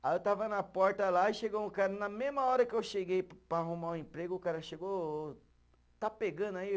Aí eu estava na porta lá e chegou um cara, na mesma hora que eu cheguei para arrumar o emprego, o cara chegou ô ô, está pegando aí?